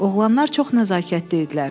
Oğlanlar çox nəzakətli idilər.